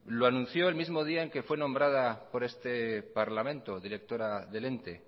lo anunció el mismo día que fue nombrada por este parlamento directora del ente